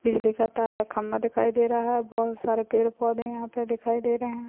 बिजली का तार और खम्मा दिखाई दे रहा है बहुत सारे पेड़ पौधे यहाँ पर दिखाई दे रहे हैं।